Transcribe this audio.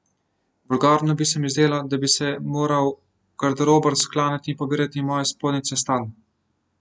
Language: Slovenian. Vulgarno bi se mi zdelo, da bi se moral garderober sklanjati in pobirati moje spodnjice s tal.